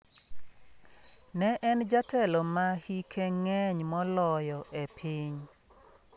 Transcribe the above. Ne en jatelo ma hike ng'eny moloyo e piny.